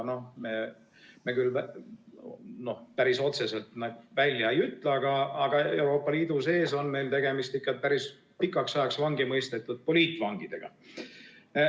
Me küll päris otseselt nii välja ei ütle, aga Euroopa Liidu sees on meil tegemist ikka päris pikaks ajaks vangi mõistetud poliitvangidega.